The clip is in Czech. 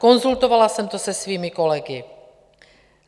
Konzultovala jsem to se svými kolegy.